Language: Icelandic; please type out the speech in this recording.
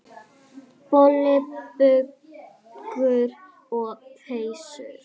Boli, buxur og peysur.